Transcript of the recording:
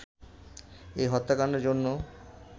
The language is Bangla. এই হত্যাকান্ডের জন্য